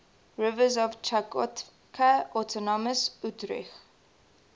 rivers of chukotka autonomous okrug